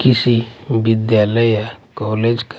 किसी विद्यालय या कॉलेज का--